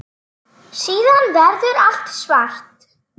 Síðan verður allt svart.